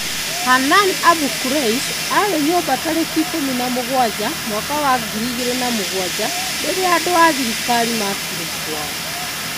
Hanan Abu_Kleish aarĩ nyũmba tarĩki ikumi na mũgwaja mwaka wa ngiri igìri na mugwaja rĩrĩa andu a thirikari makire kwao